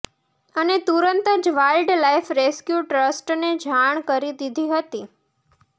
અને તુરંત જ વાઇલ્ડ લાઇફ રેસ્ક્યૂ ટ્રસ્ટને જાણ કરી દીધી હતી